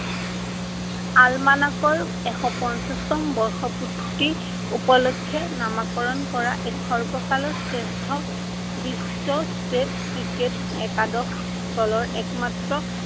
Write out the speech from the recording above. আৰমানকৰ এশ পঞ্চাশতম বৰ্ষপূৰ্তি উপলক্ষে নামাকৰণ কৰা এক সৰ্বকালৰ শ্ৰেষ্ঠ বিশ্ব state ক্ৰিকেট একাদশ দলৰ একমাত্ৰ